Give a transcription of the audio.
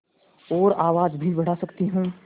और आवाज़ भी बढ़ा सकती हूँ